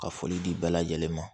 Ka foli di bɛɛ lajɛlen ma